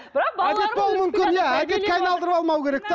әдетке айналдырып алмау керек те